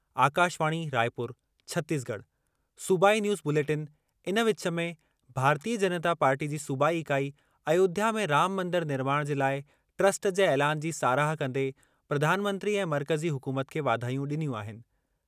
आकाशवाणी राइपुर (छतीसगढ़) सूबाई news bulletin इन विच में, भारतीय जनता पार्टी जी सूबाई इकाई अयोध्या में राम मंदरु निर्माण जे लाइ ट्रस्ट जे ऐलानु जी साराह कंदे प्रधानमंत्री ऐं मर्कज़ी हुकूमत खे वाधायूं ॾिनियूं आहिनि।